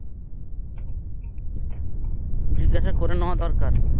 জিজ্ঞেসা করে নেওয়া দরকার